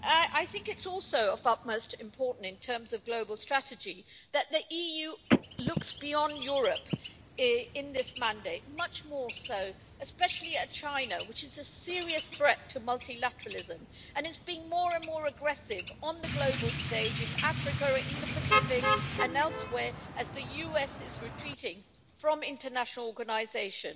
It is also of the utmost importance in terms of global strategy that the EU looks beyond Europe much more in this mandate, especially at China, which is a serious threat to multilateralism and is being more and more aggressive on the global stage in Africa, in the Pacific and elsewhere, as the US is retreating from international organisation.